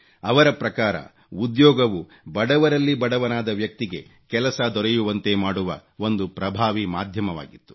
ಅವರ ಪ್ರಕಾರ ಉದ್ಯೋಗವು ಬಡವರಲ್ಲಿ ಬಡವನಾದ ವ್ಯಕ್ತಿಗೆ ಕೆಲಸ ದೊರೆಯುವಂತೆ ಮಾಡುವ ಒಂದು ಪ್ರಭಾವೀ ಮಾಧ್ಯಮವಾಗಿತ್ತು